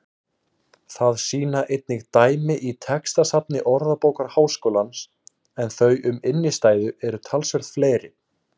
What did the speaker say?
Það sýna einnig dæmi í textasafni Orðabókar Háskólans en þau um innstæðu eru talsvert fleiri.